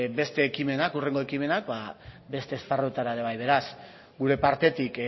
hurrengo ekimenak beste esparruetara ere bai beraz gure partetik